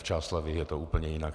V Čáslavi je to úplně jinak.